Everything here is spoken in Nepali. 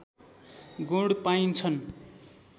गुण पाइन्छन्